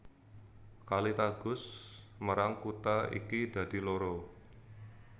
Kali Tagus mérang kutha iki dadi loro